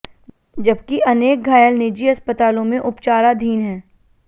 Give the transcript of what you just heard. जबकि अनेक घायल निजी अस्पतालों में उपचाराधीन हैं